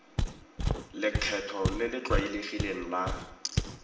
lekgetho le le tlwaelegileng la